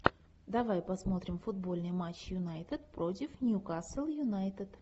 давай посмотрим футбольный матч юнайтед против ньюкасл юнайтед